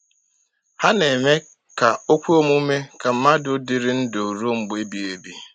Ha na-eme ka o kwe omume ka mmadụ dịrị ndụ ruo mgbe ebighị ebi.